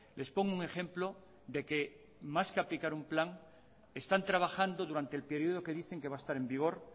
les pongo un ejemplo de que más que aplicar un plan están trabajando durante el periodo que dicen que va a estar en vigor